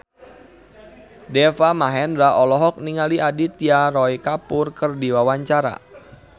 Deva Mahendra olohok ningali Aditya Roy Kapoor keur diwawancara